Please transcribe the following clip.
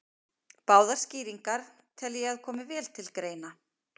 Báðar skýringarnar tel ég að komi vel til greina.